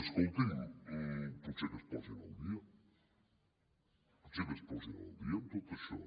escolti’m potser que es posin al dia potser que es posin al dia en tot això